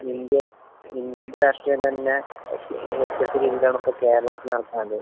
ഇപ്പൊ ഇന്ത്യ ലെ രാഷ്ട്രീയം തന്നെ വ്യത്യസ്ത രീതിയിലാണ് ഇപ്പൊ കേരളത്തിൽ നടക്കുന്നത്.